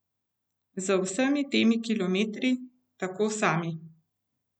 Z vsemi temi kilometri, tako sami.